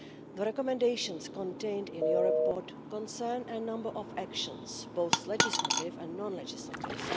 The recommendations contained in your report concern a number of actions, both legislative and non legislative.